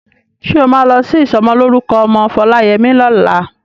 Ṣé o máa lọ sí ìsọmọlórúkọ ọmọ Foláyẹmí lọ́la?